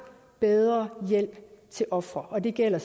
bedre hjælp til ofrene og det gælder